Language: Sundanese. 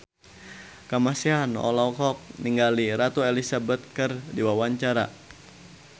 Kamasean olohok ningali Ratu Elizabeth keur diwawancara